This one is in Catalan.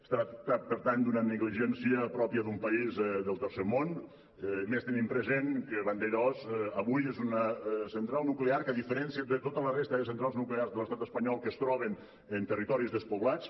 es tracta per tant d’una negligència pròpia d’un país del tercer món més tenint present que vandellòs avui és una central nuclear que a diferència de tota la resta de centrals nuclears de l’estat espanyol que es troben en territoris despoblats